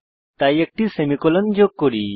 তাই একটি সেমিকোলন যোগ করি